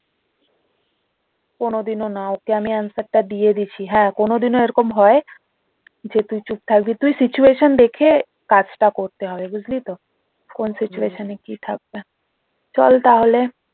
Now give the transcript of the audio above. কোনওদিনও না ওকে আমি answer টা দিয়ে দিছি হ্যাঁ কোনওদিনও এরকম হয় যে তুই চুপ থাকবি তুই situation দেখে কাজটা করতে হবে বুঝলি তো? কোন situation এ কি থাকবে চল তাহলে